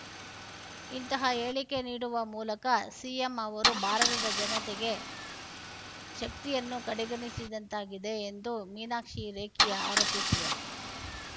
ಇಂತಹ ಹೇಳಿಕೆ ನೀಡುವ ಮೂಲಕ ಸಿಎಂ ಅವರು ಭಾರತದ ಜನತೆಗೆ ಶಕ್ತಿಯನ್ನು ಕಡೆಗಣಿಸಿದಂತಾಗಿದೆ ಎಂದು ಮೀನಾಕ್ಷಿ ಲೇಖಿ ಆರೋಪಿಸಿದರು